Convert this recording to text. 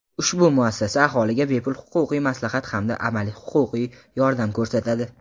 Ushbu muassasa aholiga bepul huquqiy maslahat hamda amaliy huquqiy yordam ko‘rsatadi.